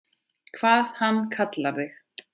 Hvað hann kallar þig?